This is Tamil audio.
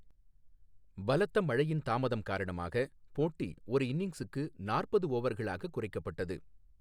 பலத்த மழையின் தாமதம் காரணமாக போட்டி ஒரு இன்னிங்ஸுக்கு நாற்பது ஓவர்களாக குறைக்கப்பட்டது.